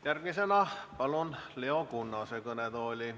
Järgmisena palun Leo Kunnase kõnetooli.